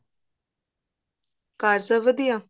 ਘਰ ਸਭ ਵਧੀਆ